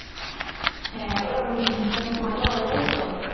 হ্যাঁ ওটা ভালো হবে তাইতো?